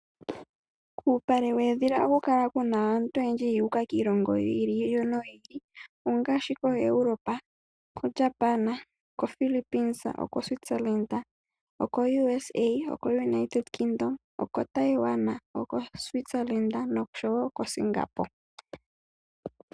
Kuupale weedhila oha ku kala aantu oyendji yuuka kiilongo yi ili no yi ili, ongaashi koEuropa, koJapan, okoPhillipines, okoSwitzerland, okoUSA, okoUnited Kingdom, okoThailanda, okoSwitzerland nosho woo koSingapore.